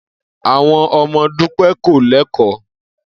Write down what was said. Àwo̩n o̩mo̩ Dúpé̩ kò lé̩kò̩ó̩